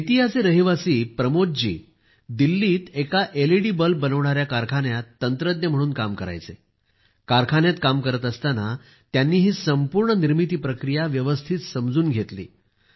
बेतियाचे रहिवासी प्रमोदजी दिल्लीत एका एलईडी बल्ब बनविणाऱ्या कारखान्यात तंत्रज्ञ म्हणून काम करायचे कारखान्यात काम करत असताना त्यांनी ही संपूर्ण निर्मिती प्रक्रिया व्यवस्थित समजून घेतली